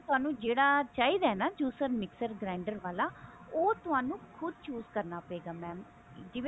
ਸਾਨੂੰ ਜਿਹੜਾ ਚਾਹੀਦਾ ਨਾ juicer mixer grinder ਵਾਲਾ ਉਹ ਤੁਹਾਨੂੰ ਖੁਦ chose ਕਰਨਾ ਪਵੇਗਾ mam